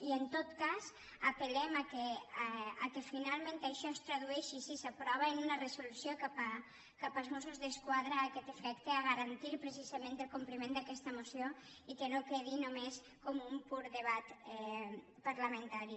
i en tot cas apel·lem que finalment això es tradueixi si s’aprova en una resolució cap als mossos d’esquadra a aquest efecte a garantir precisament el compliment d’aquesta moció i que no quedi només com un pur de·bat parlamentari